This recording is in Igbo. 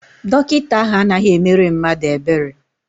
Dọkịta ahụ anaghị emere mmadụ ebere.